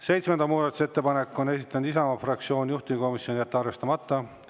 Seitsmenda muudatusettepaneku on esitanud Isamaa fraktsioon, juhtivkomisjon: jätta arvestamata.